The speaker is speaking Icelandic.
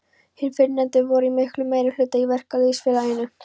Hinir fyrrnefndu voru í miklum meirihluta í verkalýðsfélaginu.